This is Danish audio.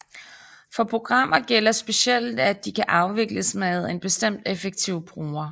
For programmer gælder specielt at de kan afvikles med en bestemt effektiv bruger